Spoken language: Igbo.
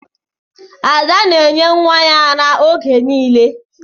Ada na-enye nwa ya ara oge niile.